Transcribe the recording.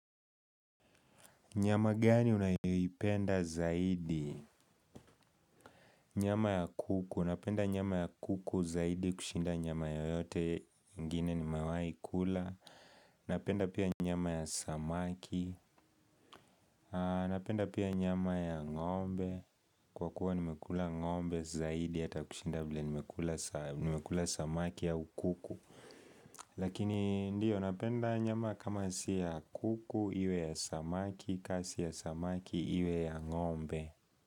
Nyama gani unayoipenda zaidi? Nyama ya kuku. Napenda nyama ya kuku zaidi kushinda nyama yoyote ingine nimewai kula. Napenda pia nyama ya samaki. Napenda pia nyama ya ngombe. Kwa kuwa nimekula ng'ombe zaidi hata kushinda vile nimekula samaki au ukuku. Lakini ndio napenda nyama kama siya kuku iwe ya samaki kasi ya samaki iwe ya ngombe.